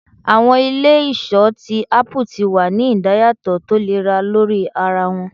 Awọn ile-iṣọ ti apu ti wa ni idayatọ tolera lori ara wọn